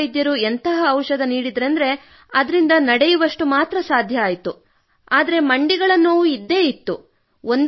ನಾಟಿ ವೈದ್ಯರು ಎಂತಹ ಔಷಧ ನೀಡಿದರೆಂದರೆ ಅದರಿಂದ ನಡೆಯುವಷ್ಟು ಸಾಧ್ಯವಾಯಿತು ಹಾಗೂ ಮಂಡಿಗಳ ನೋವು ಇದ್ದೇ ಇತ್ತು